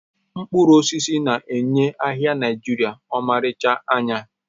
Mkpụrụ osisi na-enye ahịa Naijiria ọmarịcha anya